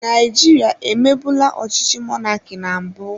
Naijirịa emebula ọchịchị mọnaki na mbụ?